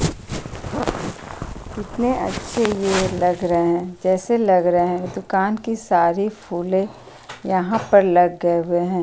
कितने अच्छे ये लग रहें हैं जैसे लग रहें है। दुकान की सारी फूलें यहाँ पर लग गए हुए हैं।